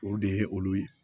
O de ye olu ye